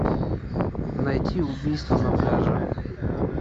найти убийство на пляже